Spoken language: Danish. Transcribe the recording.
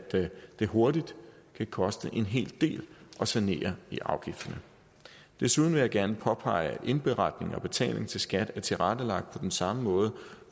det hurtigt kan koste en hel del at sanere i afgifterne desuden vil jeg gerne påpege at indberetning og betaling til skat er tilrettelagt på den samme måde